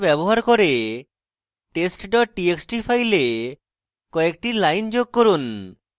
file descriptors ব্যবহার করে test dot txt file কয়েকটি lines যোগ করুন